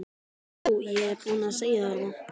Jú, ég er búinn að segja þér það.